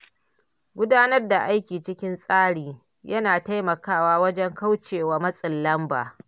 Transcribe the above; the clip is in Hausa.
Gudanar da aiki cikin tsari yana taimakawa wajen kauce wa matsin lamba.